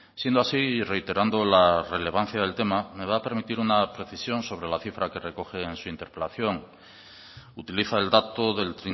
siendo así y reiterando la relevancia del tema me va a permitir una precisión sobre la cifra que recoge en su interpelación utiliza el dato del